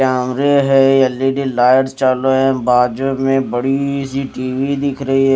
L E D lights चालू है बाजू में बड़ी सी टी_वी दिख रही है।